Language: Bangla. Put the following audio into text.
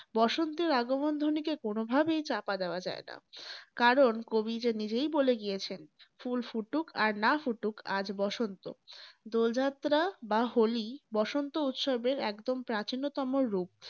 বসন্তের আগমন ধ্বনিকে কোনভাবেই চাপা দেয়া যায়না। কারণ কবি যে নিজেই বলে গিয়েছেন, ফুল ফুটুক আর না ফুটুক আজ বসন্ত। দোল যাত্রা বা হোলি বসন্ত উৎসবের একদম প্রাচীনতম রূপ।